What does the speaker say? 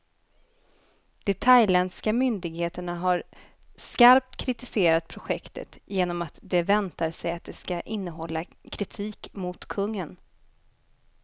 De thailändska myndigheterna har skarpt kritiserat projektet, genom att de väntar sig att det ska innehålla kritik mot kungen.